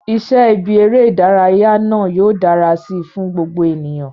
Iṣẹ́ ibi eré ìdárayá náà yóò dára si fún gbogbo ènìyàn